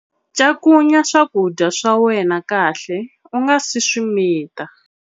Cakunya swakudya swa wena kahle u nga si swi mita